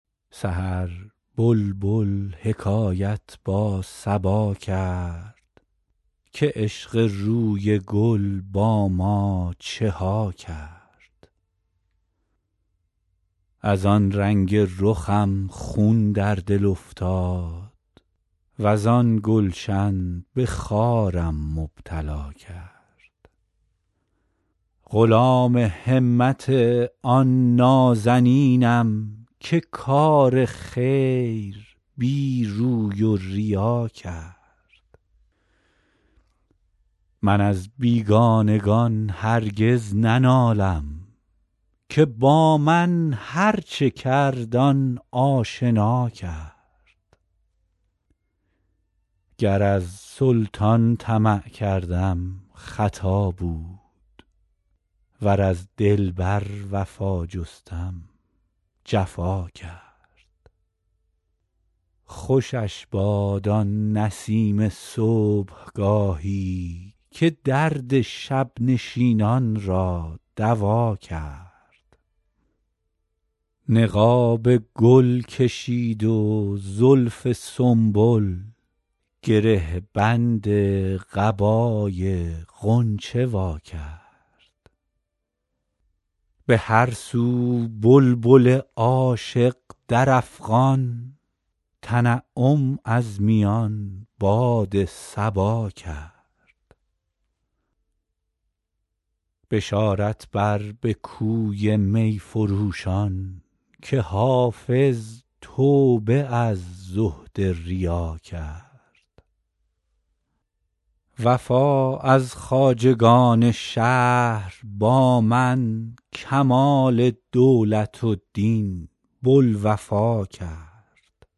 سحر بلبل حکایت با صبا کرد که عشق روی گل با ما چه ها کرد از آن رنگ رخم خون در دل افتاد وز آن گلشن به خارم مبتلا کرد غلام همت آن نازنینم که کار خیر بی روی و ریا کرد من از بیگانگان دیگر ننالم که با من هرچه کرد آن آشنا کرد گر از سلطان طمع کردم خطا بود ور از دلبر وفا جستم جفا کرد خوشش باد آن نسیم صبحگاهی که درد شب نشینان را دوا کرد نقاب گل کشید و زلف سنبل گره بند قبای غنچه وا کرد به هر سو بلبل عاشق در افغان تنعم از میان باد صبا کرد بشارت بر به کوی می فروشان که حافظ توبه از زهد ریا کرد وفا از خواجگان شهر با من کمال دولت و دین بوالوفا کرد